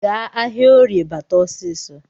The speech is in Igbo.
Gaa ahịaorie bata ọsịsọ